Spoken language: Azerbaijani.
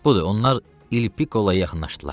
Budur, onlar Il Pikoloya yaxınlaşdılar.